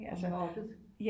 Bliver mobbet